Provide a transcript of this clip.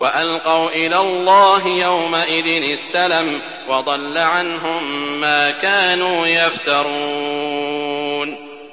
وَأَلْقَوْا إِلَى اللَّهِ يَوْمَئِذٍ السَّلَمَ ۖ وَضَلَّ عَنْهُم مَّا كَانُوا يَفْتَرُونَ